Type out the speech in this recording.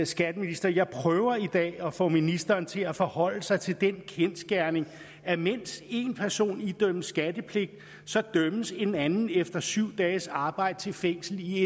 skatteminister jeg prøver i dag at få ministeren til at forholde sig til den kendsgerning at mens en person idømmes skattepligt dømmes en anden efter syv dages arbejde til fængsel i